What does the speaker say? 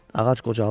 Ağac qocalmışdı.